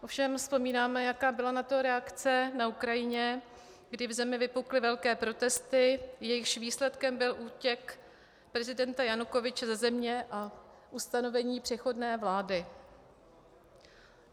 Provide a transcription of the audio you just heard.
Ovšem vzpomínáme, jaká byla na to reakce na Ukrajině, kdy v zemi vypukly velké protesty, jejichž výsledkem byl útěk prezidenta Janukovyče ze země a ustanovení přechodné vlády.